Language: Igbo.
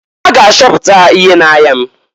A ga achọpụta ihe na-aya m.